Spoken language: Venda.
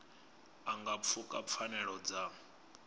a nga pfuka pfanelo dza